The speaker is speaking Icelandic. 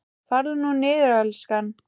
Farðu nú niður, elskan.